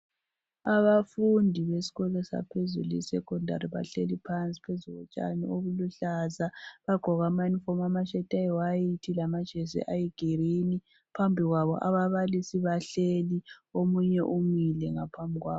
Abafundi besikolo saphezulu e secondary bahleli phansi phezu kotshani obuluhlaza bagqoke amayunifomu amayembe amhlophe lamajesi aluhlaza. Phambi kwabo ababalisi bahleli omunye umile ngiphambi kwabo